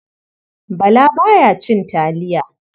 Bala ba ya cin taliya.